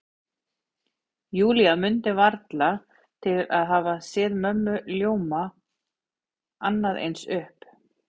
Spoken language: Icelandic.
Júlía mundi varla til að hafa séð mömmu ljóma annað eins upp.